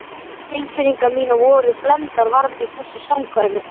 Tilfinningar mínar voru blendnar varðandi þessi samkvæmi.